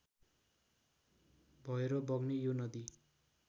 भएर बग्ने यो नदी